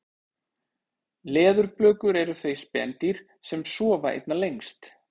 leðurblökur eru þau spendýr sem sofa einna lengst